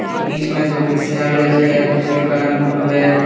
बीच में दो कुर्सियां भी रखी है कुर्सियों का रंग ब्लू है।